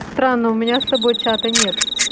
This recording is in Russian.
странно у меня с собой чата нет